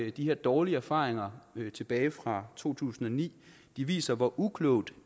at de her dårlige erfaringer tilbage fra to tusind og ni viser hvor uklogt